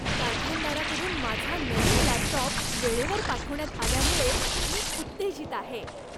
कारखानदाराकडून माझा नवीन लॅपटॉप वेळेवर पाठवण्यात आल्यामुळे मी उत्तेजित आहे.